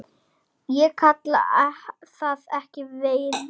Ég kalla það ekki veiði.